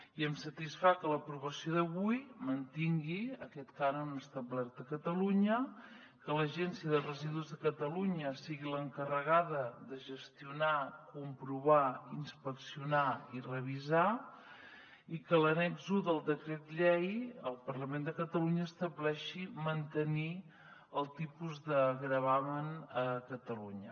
i em satisfà que l’aprovació d’avui mantingui aquest cànon establert a catalunya que l’agència de residus de catalunya sigui l’encarregada de gestionar comprovar inspeccionar i revisar i que l’annex un del decret llei del parlament de catalunya estableixi mantenir el tipus de gravamen a catalunya